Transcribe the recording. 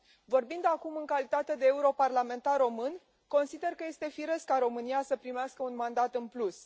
Vorbind acum în calitate de europarlamentar român, consider că este firesc ca România să primească un mandat în plus.